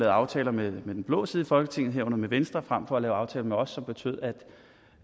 aftaler med den blå side i folketinget herunder med venstre frem for at lave aftaler med os som betød